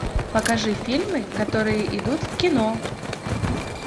покажи фильмы которые идут в кино